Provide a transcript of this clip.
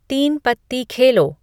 तीन पत्ती खेलो